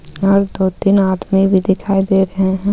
और दो-तीन आदमी भी दिखाई दे रहे हैं.